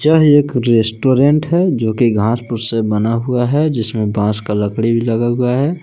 यह एक रेस्टोरेंट है जोकि घासपूस से बना हुआ है जिसमें बास का लकड़ी भी लगा हुआ है।